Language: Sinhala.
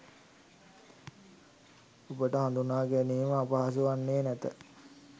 ඔබට හඳුනාගැනීම අපහසු වන්නේ නැත